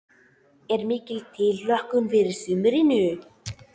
Er mikil tilhlökkun fyrir sumrinu?